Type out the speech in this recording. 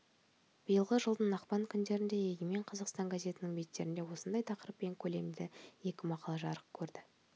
биылғы жылдың ақпан күндері егемен қазақстан газетінің беттерінде осындай тақырыппен көлемді екі мақала жарық көрді